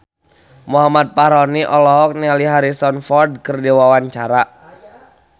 Muhammad Fachroni olohok ningali Harrison Ford keur diwawancara